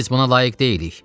Biz buna layiq deyilik.